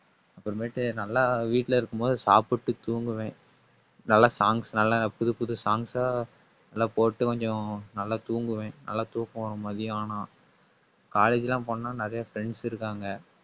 அப்புறமேட்டு நல்லா வீட்டுல இருக்கும்போது சாப்பிட்டு தூங்குவேன். நல்ல songs நல்லா புது புது songs ஆ நல்லா போட்டு கொஞ்சம் நல்லா தூங்குவேன். நல்லா தூக்கம் வரும் மத்தியானம். college எல்லாம் போனா நிறைய friends இருக்காங்க